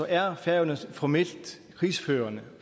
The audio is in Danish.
er færøerne formelt krigsførende